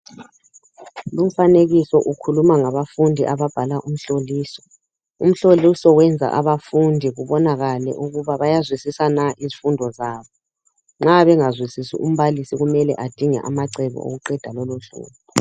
Lumfanekiso ukhuluma ngabafundi ababhala umhloliso. Umhloliso wenza abafundi kubonakale ukuba bayazwisisa na izifundo zabo. Nxa bengazwisisi umbalisi kumele adinge amacebo okuqeda lolo hlupho.